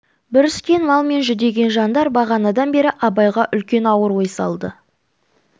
бүріскен мал мен жүдеген жандар бағанадан бері абайға үлкен ауыр ой салды